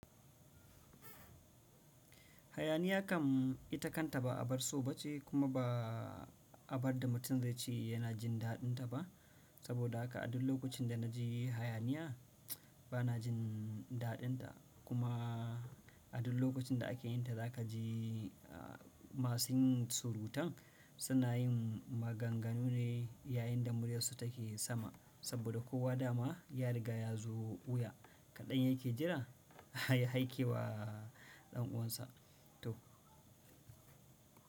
Hayaniya kam ita kanta ba abar so ba ce kuma ba abar da mutum zai ce yana jin daɗinta ba, saboda haka a duk lokacin da na ji hayaniya bana jin daɗinta. Kuma a duk lokacin da ake yin ta za ka ji masu yin surutan suna yin maganganu ne yayin da muryarsu take sama saboda kowa da ma ya riga ya zo wuya kaɗan yake jira ya haike wa ɗan uwansa to.